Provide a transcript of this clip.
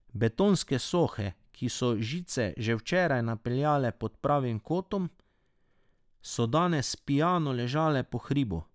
Betonske sohe, ki so žice še včeraj napenjale pod pravim kotom, so danes pijano ležale po hribu.